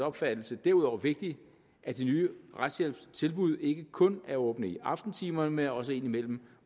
opfattelse derudover vigtigt at de nye retshjælpstilbud ikke kun er åbne i aftentimerne men også indimellem